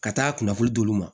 Ka taa kunnafoli d'u ma